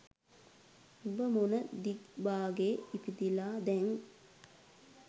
උඹ මොන දිග්බාගේ ඉපදිලා දැන්